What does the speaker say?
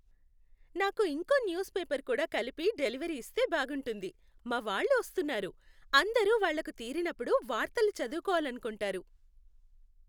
నాకు ఇంకో news paper కూడా కలిపి డెలివరీ ఇస్తే బాగుంటుంది! మా వాళ్ళు వస్తున్నారు, అందరూ వాళ్ళకు తీరినప్పుడు వార్తలు చదవుకోవాలనుకుంటారు.